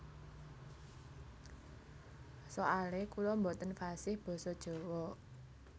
Soale kula boten fasih basa jawa